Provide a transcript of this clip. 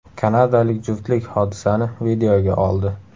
Kanadalik juftlik hodisani videoga oldi.